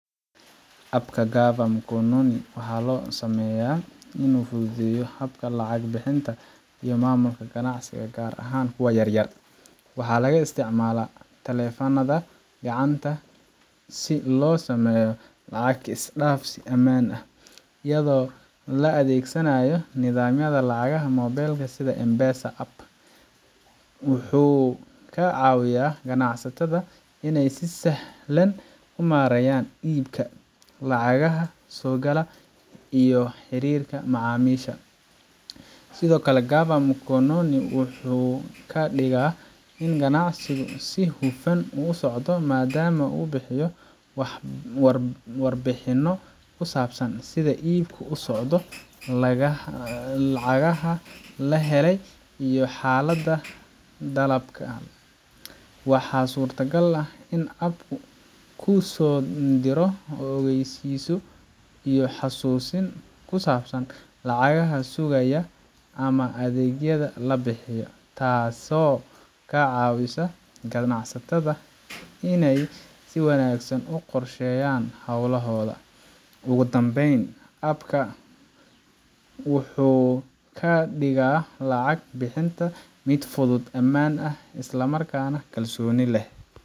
App ka Gava Mkononi waxaa loo sameeyay inuu fududeeyo habka lacag bixinta iyo maamulka ganacsiga gaar ahaan kuwa yaryar. Waxaa laga isticmaalaa taleefannada gacanta si loo sameeyo lacag is dhaafsi ammaan ah, iyadoo la adeegsanayo nidaamyada lacagaha moobilka sida M-Pesa. App kan wuxuu ka caawiyaa ganacsatada inay si sahlan u maareeyaan iibka, lacagaha soo gala, iyo xiriirka macaamiisha. Sidoo kale, Gava Mkononi wuxuu ka dhigaa in ganacsigu si hufan u socdo maadaama uu bixiyo warbixinno ku saabsan sida iibku u socdo, lacagaha la helay, iyo xaaladda dalabka. Waxaa suuragal ah in app-ku kuu soo diro ogeysiisyo iyo xusuusin ku saabsan lacagaha sugaya ama adeegyada la bixiyo, taasoo ka caawisa ganacsatada inay si wanaagsan u qorsheeyaan hawlahooda. Ugu dambeyn, app ka wuxuu ka dhigaa lacag bixinta mid fudud, ammaan ah, isla markaana kalsooni leh,